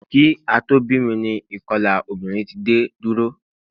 Kí a tó bí mi ni ìkolà obìnrin ti dé dúró